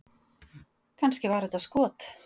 Kannski var þetta skot??